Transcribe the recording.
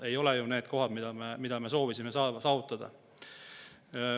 Ei ole ju need eesmärgid, mida me soovisime saavutada.